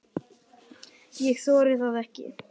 Ég þori það ekki.